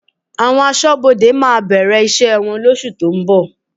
Àwọn Aṣọ́bodè máa bẹ̀rẹ̀ iṣẹ́ wọn lóṣù tó ń bọ̀